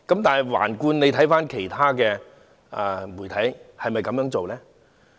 但是，環顧其他媒體，是否同樣的呢？